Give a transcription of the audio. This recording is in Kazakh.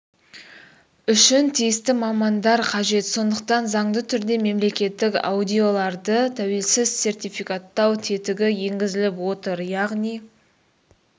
үшін тиісті мамандар қажет сондықтан заңды түрде мемлекеттік аудиторларды тәуелсіз сертификаттау тетігі енгізіліп отыр яғни